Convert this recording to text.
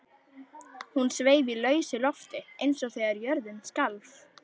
Hún sveif í lausu lofti eins og þegar jörðin skalf.